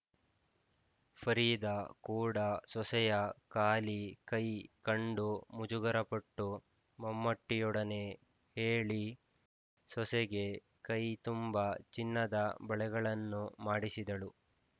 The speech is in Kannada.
ಫರೀದಾ ಕೂಡಾ ಸೊಸೆಯ ಖಾಲಿ ಕೈ ಕಂಡು ಮುಜುಗರಪಟ್ಟು ಮಮ್ಮೂಟಿಯೊಡನೆ ಹೇಳಿ ಸೊಸೆಗೆ ಕೈ ತುಂಬಾ ಚಿನ್ನದ ಬಳೆಗಳನ್ನು ಮಾಡಿಸಿದಳು